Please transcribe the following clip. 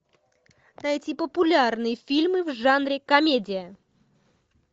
найти популярные фильмы в жанре комедия